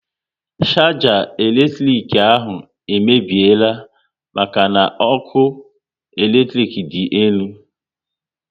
Sharger elektrik ahụ emebiela maka n'ọkụ eletrik dị elu